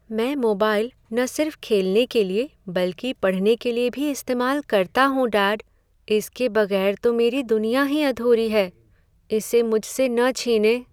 मैं मोबाइल न सिर्फ खेलने के लिए बल्कि पढ़ने के लिए भी इस्तेमाल करता हूँ, डैड, इसके बगैर तो मेरी दुनिया ही अधूरी है। इसे मुझसे न छीनें।